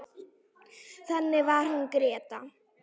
Þannig var hún Gréta.